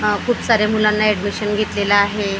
आह खूप साऱ्या मुलांना एडमिशन घेतलेलं आहे आपाप--